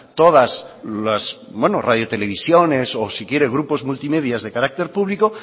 todas las radio televisiones o si quiere grupos multimedia de carácter público